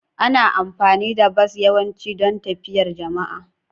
Ana amfani da bas yawanci don tafiyar jama'a.